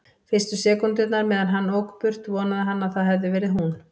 Fyrstu sekúndurnar meðan hann ók burt vonaði hann að það hefði verið hún.